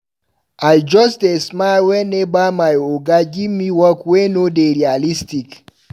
I dey just smile weneva my oga give me work wey no dey realistic.